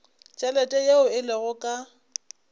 tšhelete yeo e lego ka